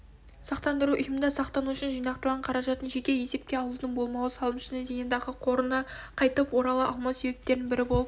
сақтандыру ұйымында сақтанушының жинақталған қаражатын жеке есепке алудың болмауы салымшының зейнетақы қорына қайтып орала алмау себептерінің бірі болып